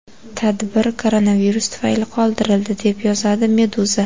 Tadbir koronavirus tufayli qoldirildi, deb yozadi Meduza.